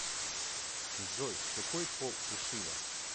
джой какой пол у шива